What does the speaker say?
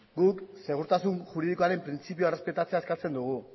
guk segurtasun juridikoaren printzipioa errespetatzea eskatzen dugu